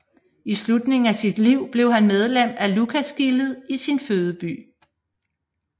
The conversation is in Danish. I slutningen af sit liv blev han medlem af Lucasgildet i sin fødeby